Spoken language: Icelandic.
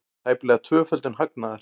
Tæplega tvöföldun hagnaðar